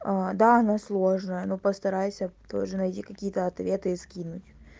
да она сложная но постарайся тоже найди какие-то ответы и скинуть